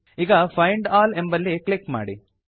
ಈಗ find all ಎಂಬಲ್ಲಿ click ಮಾಡಿ